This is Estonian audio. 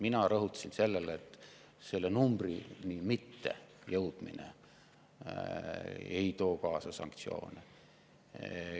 Mina rõhutasin seda, et selle numbrini mittejõudmine ei too kaasa sanktsioone.